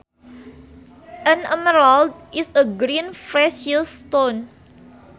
An emerald is a green precious stone